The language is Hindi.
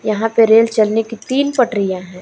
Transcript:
यहां पे रेल चलने की तीन पटरियां हैं।